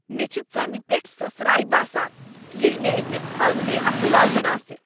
مےٚ چھےٚ ژمہِ پیٹھ سۄسراے باسان ییٚلہ مےٚ اکس ہٲنگنیہ اتھٕ لاگُن آسہِ۔